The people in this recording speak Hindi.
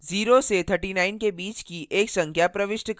0 से 39 के बीच की एक संख्या प्रविष्ट करें